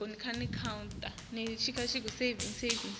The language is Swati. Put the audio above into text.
kwengca lelinani lelimisiwe